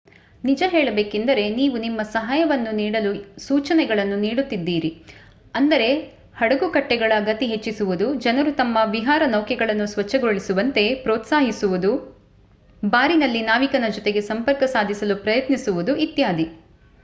ನಿಜ ಹೇಳಬೇಕೆಂದರೆ ನೀವು ನಿಮ್ಮ ಸಹಾಯವನ್ನು ನೀಡಲು ಸೂಚನೆಗಳನ್ನು ನೀಡುತ್ತಿದ್ದೀರಿ ಅಂದರೆ ಹಡಗುಕಟ್ಟೆಗಳ ಗತಿ ಹೆಚ್ಚಿಸುವುದು ಜನರು ತಮ್ಮ ವಿಹಾರ ನೌಕೆಗಳನ್ನು ಸ್ವಚ್ಛಗೊಳಿಸುವಂತೆ ಪ್ರೋತ್ಸಾಹಿಸುವುದು ಬಾರಿನಲ್ಲಿ ನಾವಿಕನ ಜೊತೆಗೆ ಸಂಪರ್ಕ ಸಾಧಿಸಲು ಪ್ರಯತ್ನಿಸುವುದು ಇತ್ಯಾದಿ